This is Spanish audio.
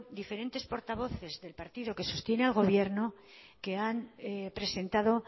diferentes portavoces del partido que sostiene al gobierno que han presentado